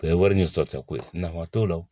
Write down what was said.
O ye wari ni sɔrɔta ko ye nafa t'o la